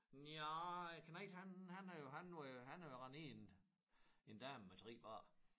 Nja æ knejt han han er jo han er han er jo rendt ind i en dame med 3 børn